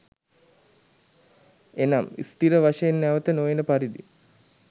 එනම් ස්ථිර වශයෙන් නැවත නොඑන පරිදි